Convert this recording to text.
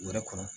U yɛrɛ kɔnɔ